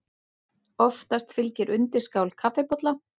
Oftast fylgir undirskál kaffibolla.